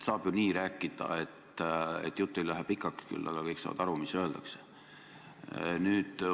Saab ju nii rääkida, et jutt ei lähe pikaks, küll aga kõik saavad aru, mis öeldakse.